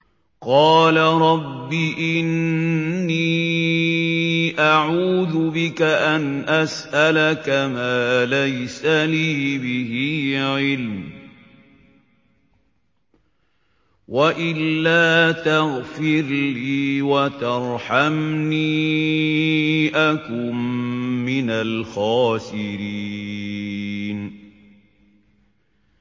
قَالَ رَبِّ إِنِّي أَعُوذُ بِكَ أَنْ أَسْأَلَكَ مَا لَيْسَ لِي بِهِ عِلْمٌ ۖ وَإِلَّا تَغْفِرْ لِي وَتَرْحَمْنِي أَكُن مِّنَ الْخَاسِرِينَ